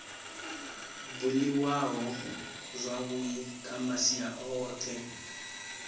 buliwaho zwavhui kha masia ohe